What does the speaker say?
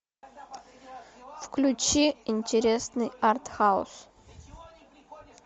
включи интересный арт хаус